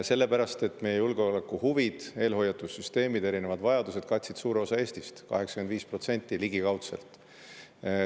Sellepärast et meie julgeolekuhuvid, eelhoiatussüsteemid, erinevad vajadused katsid suure osa Eestist, 85% ligikaudselt.